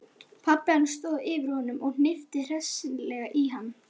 Pabbi hans stóð yfir honum og hnippti hressilega í hann.